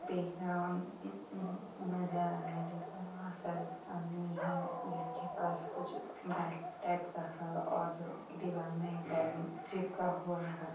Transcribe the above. देखने में मजा आ रहा है बहुत सारा आदमी है जिसके पास कुछ टाइप का है और दीवाल में ड्राइंग चिपका हुआ है।